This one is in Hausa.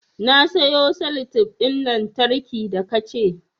Na sayo salatef ɗin lantarki da ka ce